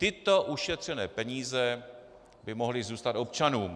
Tyto ušetřené peníze by mohly zůstat občanům.